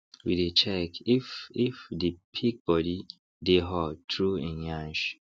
we dey check if if the pig body dey hot through en yansh